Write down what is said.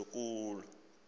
nzulu thina kule